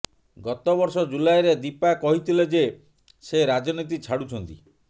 ଗତ ବର୍ଷ ଜୁଲାଇରେ ଦୀପା କହିଥିଲେ ଯେ ସେ ରାଜନୀତି ଛାଡୁଛନ୍ତି